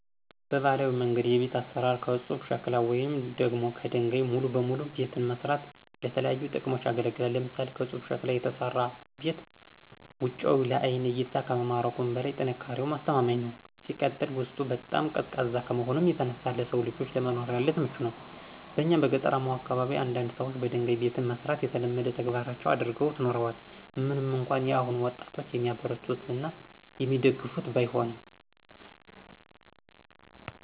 በባህላዊ መንገድ የቤት አሰራር ከፁብ ሸክላ ወይም ደግሞ ከደንጋይ ሙሉ በሙሉ ቤትን መስራት ለተለያዩ ጥቅሞች ያገለግላል። ለምሳሌ፦ ከፁብ ሸክላ የተሰራ ቤት ውጫዊው ለአይን እይታ ከመማረኩም በላይ ጥንካሬውም አስተማማኝ ነው። ሲቀጥል ውስጡ በጣም ቀዝቃዛ ከመሆኑ የተነሳ ለሰው ልጆች ለመኖሪያነት ምቹ ነው። በእኛ በገጠራማው አካባቢ አንዳንድ ሰዎች በደንጋይ ቤትን መስራት የተለመደው ተግባራቸው አድርገውት ኑረዋል ምንም እንኳን የአሁኑ ወጣጦች የሚያበረታቱት እና የሚደግፉት ባይሆንም።